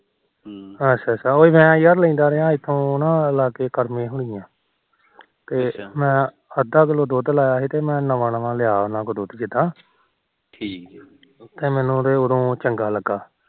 ਅੱਛਾ ਉਹ ਯਾਰ ਮੈ ਲੈਂਦਾ ਰਿਹਾ ਇਥੋ ਉਹ ਲਾਗੇ ਕਰਮੇ ਹੁਨੀ ਆ ਤੇ ਅੱਧਾ ਕਿਲੋ ਦੁਧ ਲਾਇਆ ਸੀ ਤੇ ਮੈ ਨਵਾ ਨਵਾ ਦੁਧ ਲਾਇਆ ਸੀ ਉਹਨਾ ਕੋਲੋ ਦੁਧ ਜਿਦਾ ਠੀਕ ਐ ਤੇ ਮੈਨੂੰ ਉਹਦੇ ਚੰਗਾ ਲੱਗਾ